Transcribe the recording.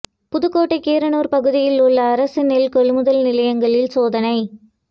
புதுக்கோட்டை கீரனுர் பகுதிகளில் உள்ள அரசு நெல் கொள்முதல் நிலையங்களில் சோதனை